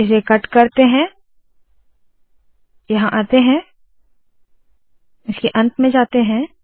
इसे कट करते है यहाँ आते है इसके अंत में जाते है